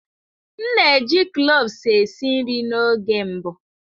M na-eji cloves esi nri n'oge mbụ.